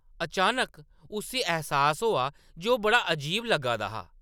अचानक, उस्सी ऐह्‌सास होआ जे ओह्‌‌ बड़ा अजीब लग्गा दा हा ।